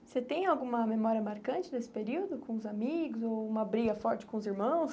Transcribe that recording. Você tem alguma memória marcante desse período com os amigos ou uma briga forte com os irmãos?